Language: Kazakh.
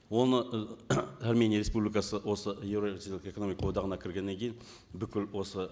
оны і армения республикасы осы еуразиялық экономикалық одағына кіргеннен кейін бүкіл осы